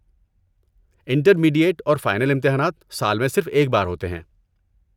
Intermediate اور final امتحانات سال میں صرف ایک بار ہوتے ہیں۔